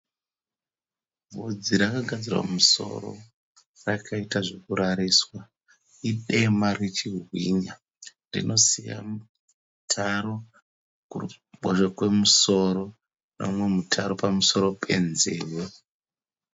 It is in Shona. Vhudzi rakagadzirwa mumusoro rakaita zvekurariswa idema richibwinya. Rinosiya mutaro kuruboshwe kwemusoro nemumwe mutaro pamusoro penzeve.